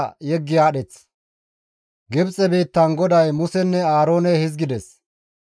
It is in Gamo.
Gibxe biittan GODAY Musenne Aaroone hizgides;